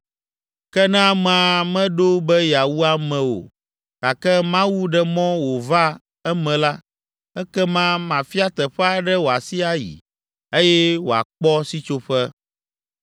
Ke ne amea meɖo be yeawu ame o, gake Mawu ɖe mɔ wòva eme la, ekema mafia teƒe aɖe wòasi ayi, eye wòakpɔ sitsoƒe.